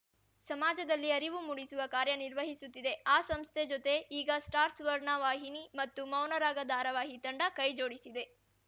ಸಮಾಜದಲ್ಲಿ ಅರಿವು ಮೂಡಿಸುವ ಕಾರ್ಯನಿರ್ವಹಿಸುತ್ತಿದೆ ಆ ಸಂಸ್ಥೆ ಜೊತೆ ಈಗ ಸ್ಟಾರ್‌ ಸುವರ್ಣ ವಾಹಿನಿ ಮತ್ತು ಮೌನರಾಗ ಧಾರಾವಾಹಿ ತಂಡ ಕೈಜೋಡಿಸಿದೆ